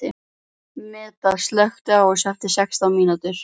Meda, slökktu á þessu eftir sextán mínútur.